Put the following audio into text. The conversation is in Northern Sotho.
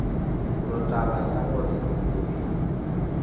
gore taba ya gore kobi